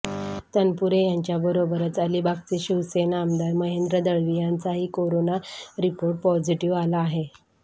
तनपुरे यांच्याबरोबरच अलिबागचे शिवसेना आमदार महेंद्र दळवी यांचाही करोना रिपोर्ट पॉझिटिव्ह आला आहे